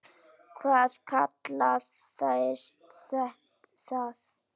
Hvað kallast það?